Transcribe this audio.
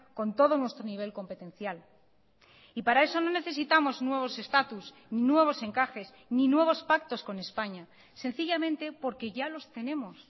con todo nuestro nivel competencial y para eso no necesitamos nuevos estatus nuevos encajes ni nuevos pactos con españa sencillamente porque ya los tenemos